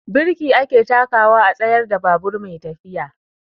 Birki ake takawa a tsayar da babur mai tafiya.